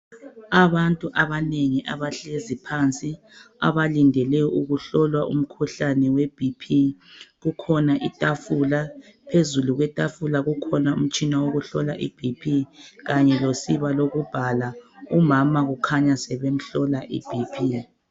Abantu abanengi abahlezi phansi abalindele ukuhlolwa umkhuhlane we BP.Kukhona itafula, phezulu kwetafula kukhona umtshina wokuhlola uBP kanye losiba lokubhala. Umama ukhanya sebemhlola iBP.